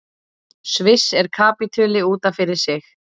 Sviss er kapítuli út af fyrir sig.